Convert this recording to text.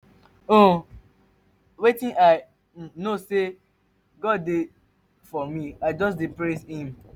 um wetin i um know be say god dey for me i just dey praise him.